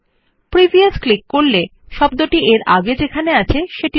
clicking on previous will move the focus to the previous instance of the word